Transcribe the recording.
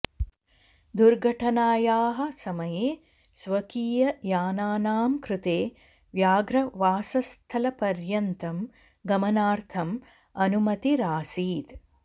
दुर्घटनायाः समये स्वकीय यानानां क्रुते व्याघ्रवासस्थलपर्यन्तं गमनार्थं अनुमतिरासीत्